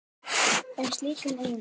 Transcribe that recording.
um slíkan iðnað.